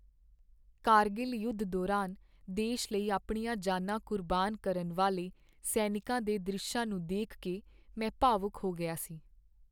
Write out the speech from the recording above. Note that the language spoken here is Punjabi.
ਕਾਰਗਿਲ ਯੁੱਧ ਦੌਰਾਨ ਦੇਸ਼ ਲਈ ਆਪਣੀਆਂ ਜਾਨਾਂ ਕੁਰਬਾਨ ਕਰਨ ਵਾਲੇ ਸੈਨਿਕਾਂ ਦੇ ਦ੍ਰਿਸ਼ਾਂ ਨੂੰ ਦੇਖ ਕੇ ਮੈਂ ਭਾਵੁਕ ਹੋ ਗਿਆ ਸੀ।